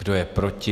Kdo je proti?